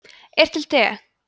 er til te